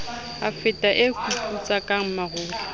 e fata e kuputsaka marole